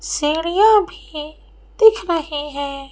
सीढ़ियाँ भी दिख रही हैं।